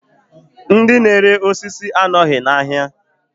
Ndi n'ere osisi anọghị n'ahịa